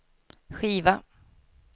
skiva